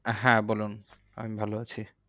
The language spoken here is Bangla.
হ্যাঁ বলুন, আমি ভালো আছি।